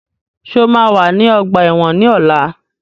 Ṣé o máa wà ní ọgbà ẹ̀wọ̀n ní ọ̀la?